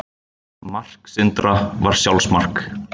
Mark Sindra var sjálfsmark.